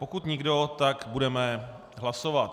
Pokud nikdo, tak budeme hlasovat.